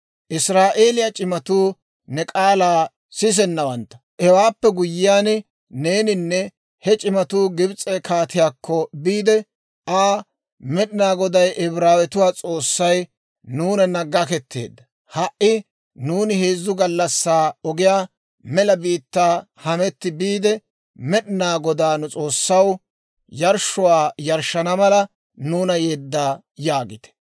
«Israa'eeliyaa c'imatuu ne k'aalaa sisanawantta; hewaappe guyyiyaan neeninne he c'imatuu Gibs'e kaatiyaakko biide Aa, ‹Med'inaa Goday, Ibraawetuwaa S'oossay, nuunanna gaketteedda. Ha"i nuuni heezzu gallassaa ogiyaa mela biittaa hametti biide, Med'inaa Godaa, nu S'oossaw, yarshshuwaa yarshshana mala nuuna yedda› yaagite.